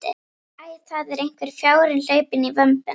Æ, það er einhver fjárinn hlaupinn í vömbina.